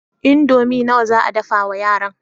Indomi nawa za a dafa wa yaran?